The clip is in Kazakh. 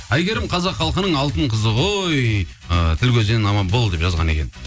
әйгерім қазақ халқының алтын қызы ғой ы тіл көзден аман бол деп жазған екен